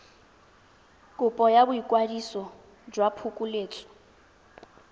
kopo ya boikwadiso jwa phokoletso